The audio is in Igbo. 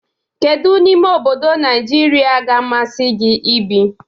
Kedu n'ime obodo Nigeria ga-amasị gị ibi?